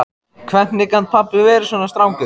Hvernig gat pabbi verið svona strangur?